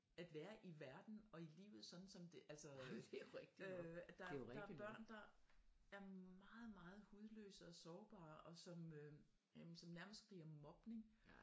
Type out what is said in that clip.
At være i verden og i livet sådan som det altså øh der er børn der er meget meget hudløse og sårbare og som øh som nærmest bliver mobning